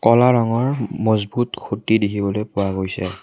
কলা ৰঙৰ মজবুত খুঁটি দেখিবলৈ পোৱা গৈছে।